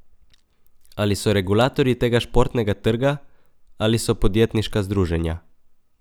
Ali so regulatorji tega športnega trga ali so podjetniška združenja?